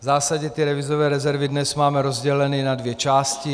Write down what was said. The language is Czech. V zásadě ty devizové rezervy dnes máme rozděleny na dvě části.